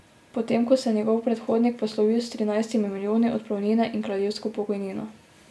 Potem ko se je njegov predhodnik poslovil s trinajstimi milijoni odpravnine in kraljevsko pokojnino.